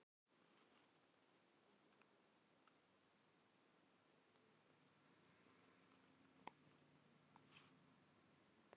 Fyrstu orrustu, sem herskip háðu í heimsstyrjöldinni síðari, var lokið